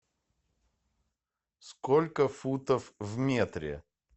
сколько футов в метре